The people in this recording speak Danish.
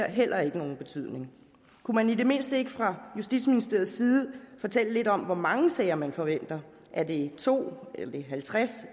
heller ikke nogen betydning kunne man i det mindste ikke fra justitsministeriets side fortælle lidt om hvor mange sager man forventer er det to halvtreds